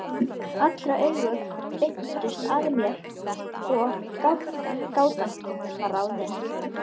Allra augu beindust að mér og gátan var ráðin.